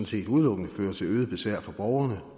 set udelukkende fører til øget besvær for borgerne